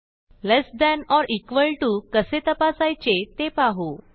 less than or equal to कसे तपासायचे ते पाहू